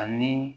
Ani